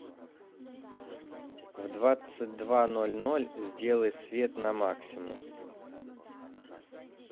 в двадцать два ноль ноль сделай свет на максимум